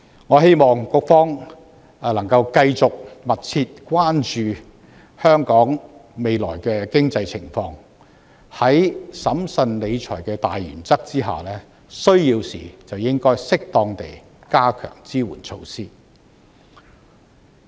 我希望局方能夠繼續密切關注香港未來的經濟情況，在審慎理財的大原則下，需要時便應適當地加強支援措施。